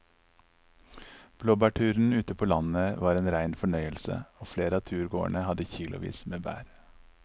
Blåbærturen ute på landet var en rein fornøyelse og flere av turgåerene hadde kilosvis med bær.